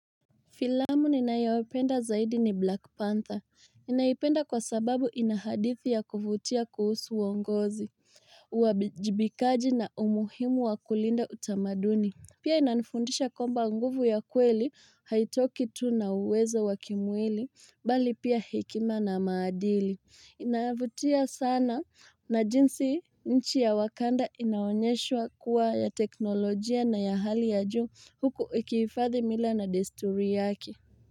Filamu ninayoipenda zaidi ni Black Panther. Ninaipenda kwa sababu ina hadithi ya kuvutia kuhusu uongozi, uwajibikaji na umuhimu wa kulinda utamaduni. Pia inanifundisha kwamba nguvu ya kweli, haitoki tu na uwezo wa kimwili, bali pia hekima na maadili. Inavutia sana na jinsi nchi ya Wakanda inaonyeshwa kuwa ya teknolojia na ya hali ya juu Huku ikihifadhi mila na desturi yake.